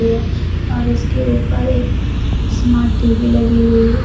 और इसके ऊपर एक स्मार्ट टी_वी लगी हुई है।